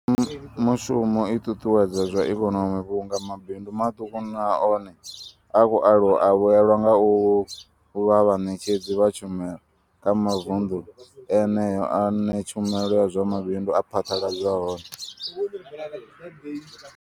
Mushumo i ṱuṱuwedza zwa ikonomi vhunga mabindu maṱuku na one a khou aluwa a vhuelwa nga u vha vhaṋetshedzi vha tshumelo kha mavunḓu eneyo ane tshumelo ya zwa mabindu ya phaḓaladzwa hone.